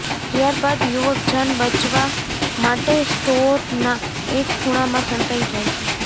ત્યાર બાદ યુવક જાન બચવા માટે સ્ટોરના એક ખુણામાં સંતાઈ જાય છે